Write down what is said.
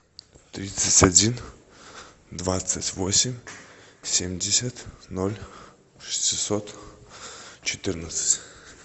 тридцать один двадцать восемь семьдесят ноль шестьсот четырнадцать